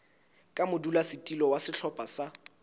ka modulasetulo wa sehlopha sa